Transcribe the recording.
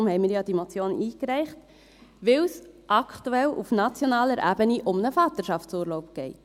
deshalb haben wir ja diese Motion eingereicht: weil es aktuell auf nationaler Ebene um einen Vaterschaftsurlaub geht.